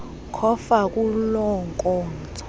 cofa kuloo nkonzo